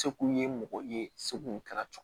Se kun ye mɔgɔ ye seko kɛra